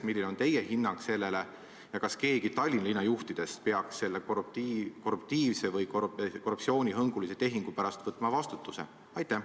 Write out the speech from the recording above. Milline on teie hinnang sellele ja kas keegi Tallinna linnajuhtidest peaks selle korruptiivse või korruptsioonihõngulise tehingu pärast võtma vastutuse?